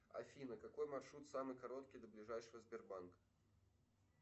афина какой маршрут самый короткий до ближайшего сбербанка